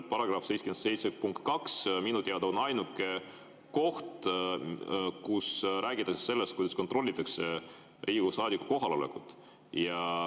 Paragrahv 77 punkt 2 on minu teada ainuke koht, kus räägitakse sellest, kuidas kontrollitakse Riigikogu saadiku kohalolekut.